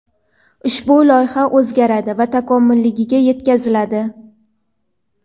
ushbu loyiha o‘zgaradi va takomiliga yetkaziladi.